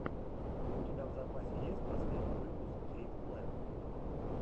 у тебя в запасе есть последний выпуск кейт клэпп